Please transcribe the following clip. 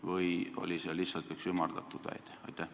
Või oli see lihtsalt üks ümardatud väide?